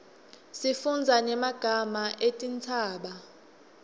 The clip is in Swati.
sifundza nyemaga etintsaba